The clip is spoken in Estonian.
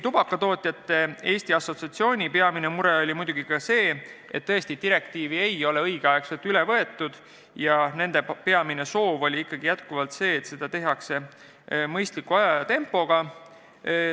Tubakatootjate Eesti Assotsiatsiooni peamine mure oli see, et direktiivi ei ole õigel ajal üle võetud, ka nende soov oli jätkuvalt, et liigutaks edasi mõistliku tempoga.